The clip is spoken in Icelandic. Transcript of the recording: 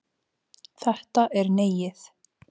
Þetta er Neiið.